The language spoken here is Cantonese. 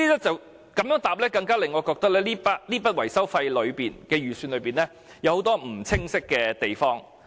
這樣的答覆更令我認為這筆預算的維修費中，有很多不清晰的地方。